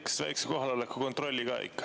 Teeks väikese kohaloleku kontrolli ka ikka.